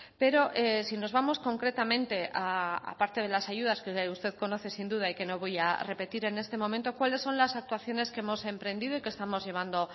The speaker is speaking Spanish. pero si nos vamos concretamente a parte de las ayudas que usted conoce sin duda y que no voy a repetir en este momento cuáles son las actuaciones que hemos emprendido y que estamos llevando